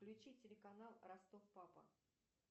включи телеканал ростов папа